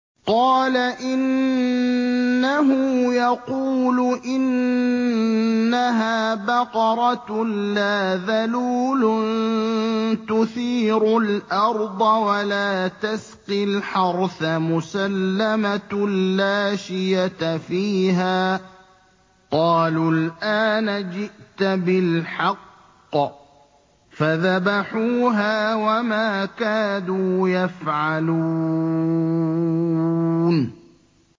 قَالَ إِنَّهُ يَقُولُ إِنَّهَا بَقَرَةٌ لَّا ذَلُولٌ تُثِيرُ الْأَرْضَ وَلَا تَسْقِي الْحَرْثَ مُسَلَّمَةٌ لَّا شِيَةَ فِيهَا ۚ قَالُوا الْآنَ جِئْتَ بِالْحَقِّ ۚ فَذَبَحُوهَا وَمَا كَادُوا يَفْعَلُونَ